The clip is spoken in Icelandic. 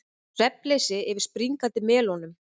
Svefnleysi yfir springandi melónum